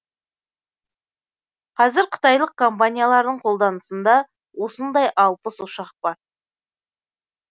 қазір қытайлық компаниялардың қолданысында осындай алпыс ұшақ бар